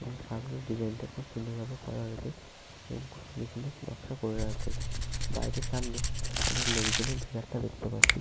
এবং সামনের ডিসাইনটা খুব সুন্দর ভাবে করা হয়েছে এবং খুব সুন্দর সুন্দর নকশা করে দেয়া আছে বাড়িটির সামনে অনেক লোকজনের ভিড়ভাট্টা দেখতে পাচ্ছি।